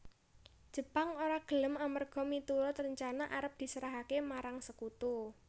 Jepang ora gelem amerga miturut rencana arep diserahaké marang Sekutu